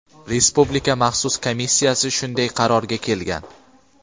Respublika maxsus komissiyasi shunday qarorga kelgan.